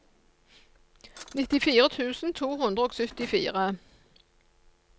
nittifire tusen to hundre og syttifire